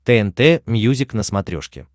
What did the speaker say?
тнт мьюзик на смотрешке